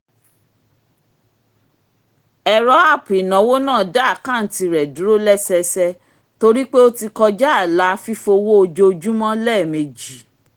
ẹ̀rọ app ináwó náà dá àkántì rẹ dúró lẹ́sẹẹsẹ torí pé ó ti kọja ààlà fífowó ojoojúmọ́ lẹ́ẹ̀mejì